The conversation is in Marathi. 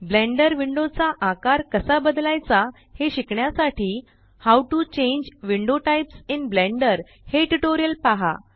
ब्लेंडर विंडो चा आकार कसा बदलायचा हे शिकण्यासाठी how to change window types in Blender हे ट्यूटोरियल पहा